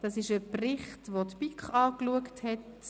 Es ist ein Bericht, den die BiK angeschaut hat.